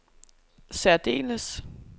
særdeles